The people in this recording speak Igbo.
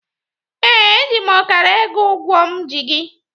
Ee, eji m ọkara ego ụgwọ m ji gị.